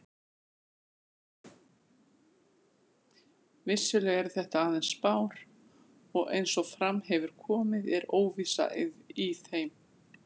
Vissulega eru þetta aðeins spár og eins og fram hefur komið er óvissa í þeim.